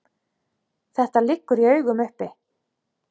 Þetta liggur í augum uppi.